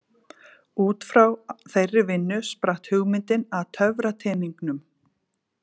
Útfrá þeirri vinnu spratt hugmyndin að töfrateningnum.